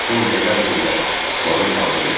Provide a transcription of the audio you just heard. On dəqiqə ərzində planım hazır idi.